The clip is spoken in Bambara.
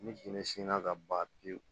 Ni jinɛ sinna ka ban pewu